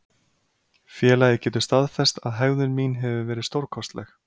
Félagið getur staðfest að hegðun mín hefur verið stórkostlegt.